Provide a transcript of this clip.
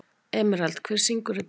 Emerald, hver syngur þetta lag?